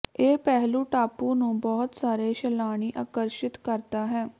ਇਹ ਪਹਿਲੂ ਟਾਪੂ ਨੂੰ ਬਹੁਤ ਸਾਰੇ ਸੈਲਾਨੀ ਆਕਰਸ਼ਿਤ ਕਰਦਾ ਹੈ